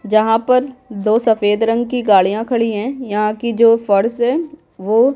जहाँ पर दो सफेद रंग की गाड़ियाँ खड़ी हैं यहाँ की जो फर्श है वो --